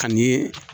Ka ni